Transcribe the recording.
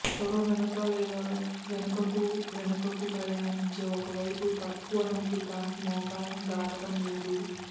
తొడ వెనుక లేదా వెనకకు వెనుకకు ప్రయాణించే ఒక వైపు తక్కువ నొప్పి కానీ మోకాలిని దాటడం లేదు